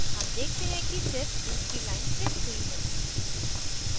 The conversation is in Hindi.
हम देखते हैं कि सिर्फ दूसरी line printed हुई है